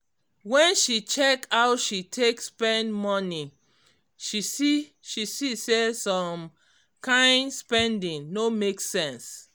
when she check how she take spend money she see she see say some kyn spending no make sense